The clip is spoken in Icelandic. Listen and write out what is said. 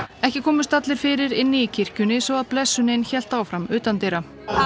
ekki komust allir fyrir inni í kirkjunni svo að blessunin hélt áfram utandyra